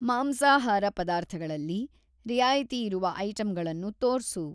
ಮಾಂಸಾಹಾರ ಪದಾರ್ಥಗಳಲ್ಲಿ ರಿಯಾಯಿತಿಯಿರುವ ಐಟಂಗಳನ್ನು ತೋರ್ಸು.